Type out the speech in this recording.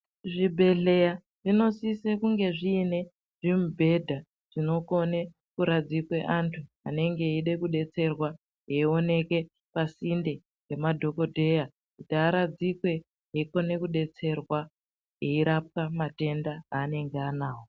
Zvibhedhleya zvinosise kunge zviine zvimibhedha zvinokone kuradzikwe antu anenge eide kubetserwa eioneka pasinde pemadhogodheya. Kuti aradzikwe eikone kubetserwa eirapwa matenda aanenge anavo.